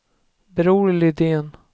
Bror Lidén